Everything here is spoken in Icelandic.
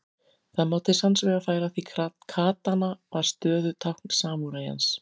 Það má til sanns vegar færa því katana var stöðutákn samúræjans.